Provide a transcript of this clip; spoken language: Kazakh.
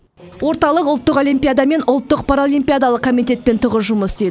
орталық ұлттық олимпиада мен ұлттық паралимпиадалық комитетпен тығыз жұмыс істейді